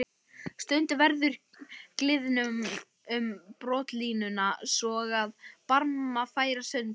Stundum verður gliðnun um brotalínuna svo að barmar færast sundur.